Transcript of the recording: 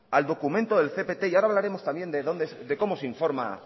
al documento del cpt y ahora hablaremos también de cómo se informa